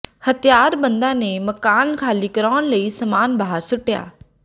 ਹਥਿਆਰਬੰਦਾਂ ਨੇ ਮਕਾਨ ਖਾਲੀ ਕਰਾਉਣ ਲਈ ਸਾਮਾਨ ਬਾਹਰ ਸੁੱਟਿਆ